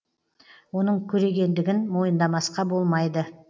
оның көрегендігін мойындамасқа болмайды